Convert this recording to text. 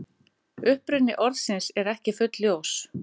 Uppruni orðsins er ekki fullljós.